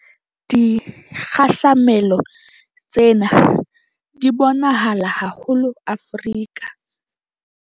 Dikgahlamelo tsena di bonahala haholo Afrika.